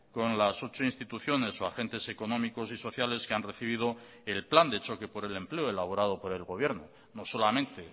con las ocho instituciones o agentes económicos y sociales que han recibido el plan de choque por el empleo elaborado por el gobierno no solamente